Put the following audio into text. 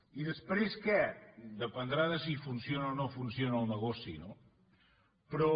i després què dependrà de si funciona o no funciona el negoci no però